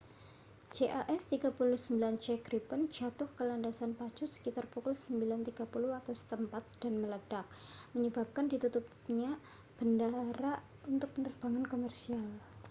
jas 39c gripen jatuh ke landasan pacu sekitar pukul 9.30 waktu setempat 0230 utc dan meledak menyebabkan ditutupnya bandara untuk penerbangan komersial